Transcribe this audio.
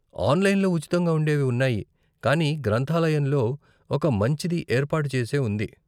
ఆన్లైన్లో ఉచితంగా ఉండేవి ఉన్నాయి, కానీ గ్రంధాలయంలో ఒక మంచిది ఏర్పాటు చేసే ఉంది.